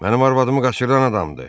Mənim arvadımı qaçıran adamdır!